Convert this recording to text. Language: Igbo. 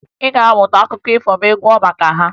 Ị ga-amụta akụkọ ifo ma ị gụọ maka ha